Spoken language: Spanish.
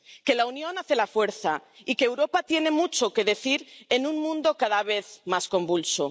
Que la unión hace la fuerza y que Europa tiene mucho que decir en un mundo cada vez más convulso.